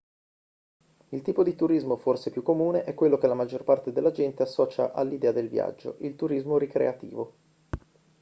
il tipo di turismo forse più comune è quello che la maggior parte della gente associa all'idea del viaggio il turismo ricreativo